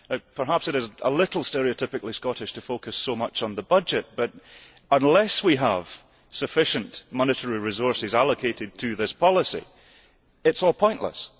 Perhaps it is a little stereotypically Scottish to focus so much on the budget, but, unless we have sufficient monetary resources allocated to this policy, it is all pointless.